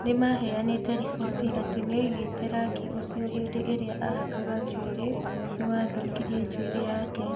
Nĩmaheanĩte riboti atĩ nĩoigĩte rangi ũcio hĩndĩ ĩrĩa ahakaga njuĩrĩ nĩwathũkirie njuĩrĩ yake